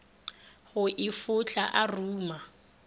go e fohla a ruma